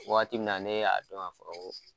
Wagati min na ne y'a dɔn ka fɔ ko